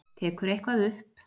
Tekur eitthvað upp.